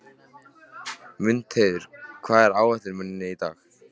Mundheiður, hvað er á áætluninni minni í dag?